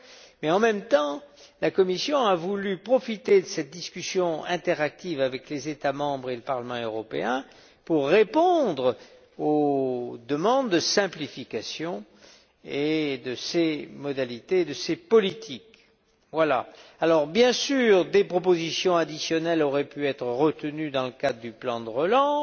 et, en même temps, elle a voulu profiter de cette discussion interactive avec les États membres et le Parlement européen pour répondre aux demandes de simplification de ces modalités et de ces politiques. Bien sûr, des propositions additionnelles auraient pu être retenues dans le cadre du plan de relance.